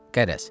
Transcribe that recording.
Qərəz.